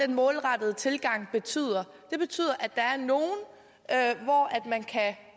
den målrettede tilgang betyder det betyder at